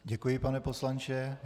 Děkuji, pane poslanče.